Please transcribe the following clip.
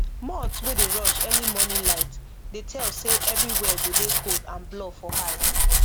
moth wey dey rush early morning light dey tell say everywhere go dey cold and blur for eye